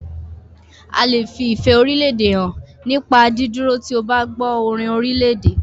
A lè fi ìfẹ́ orílédè hàn nípa dídúró tí o bá gbọ́ orin orílèdè.